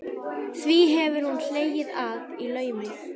Því hefur hún hlegið að í laumi.